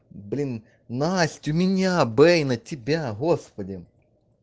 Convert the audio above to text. блин настю меня бэй на тебя господи